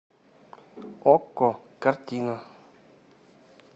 окко картина